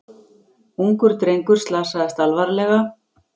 Ungur drengur slasaðist alvarlega